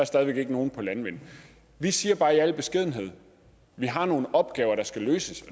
stadig væk ikke nogen om landvind vi siger bare i al beskedenhed at vi har nogle opgaver der skal løses